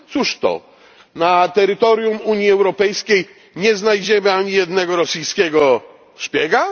Cóż to, na terytorium Unii Europejskiej nie znajdziemy ani jednego rosyjskiego szpiega?